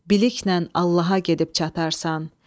Billiklə Allaha gedib çatarsan.